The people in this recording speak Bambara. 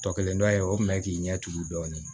Tɔ kelen dɔ ye o kun bɛ k'i ɲɛ tugu dɔɔnin